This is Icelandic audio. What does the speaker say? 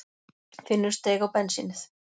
Finnur steig á bensínið